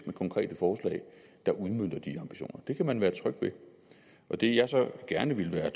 med konkrete forslag der udmønter de ambitioner det kan man være tryg ved det jeg så gerne ville være